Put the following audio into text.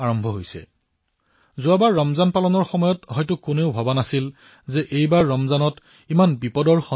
পিছৰ বাৰ ৰমজান পালনৰ সময়ত কোনেও এয়া ভবা নাছিল যে এইবাৰৰ ৰমজানত এনে সমস্যাৰ সৃষ্টি হব